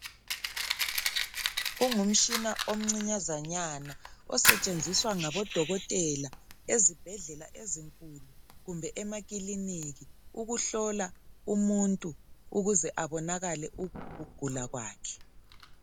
Ungumshina omncinyazanyana osetshenziswa ngabodokotela, ezibhedlela ezinkulu kumbe emakiliniki. Ukuhlola umuntu ukuze abonakale ukugula kwakhe.